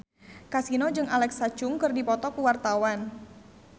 Kasino jeung Alexa Chung keur dipoto ku wartawan